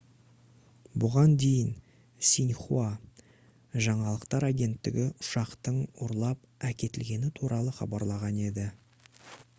бұған дейін синьхуа жаңалықтар агенттігі ұшақтың ұрлап әкетілгені туралы хабарлаған еді